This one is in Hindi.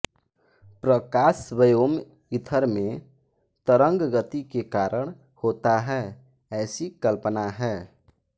प्रकाश व्योम ईथर में तरंगगति के कारण होता है ऐसी कल्पना है